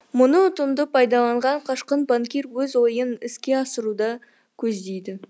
мұны ұтымды пайдаланған қашқын банкир өз ойын іске асыруды көздейді